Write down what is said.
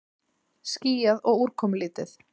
Skýjað og úrkomulítið